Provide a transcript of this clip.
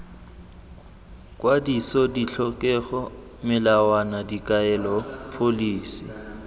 kwadiso ditlhokego melawana dikaelo pholisi